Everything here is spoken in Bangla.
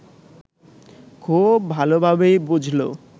খুব ভালোভাবেই বুঝল